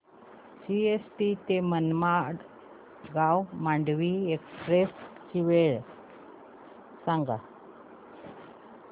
CST ते Madgaon Mandovi express ची वेळ सांगा